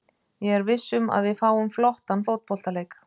Ég er viss um að við fáum flottan fótboltaleik.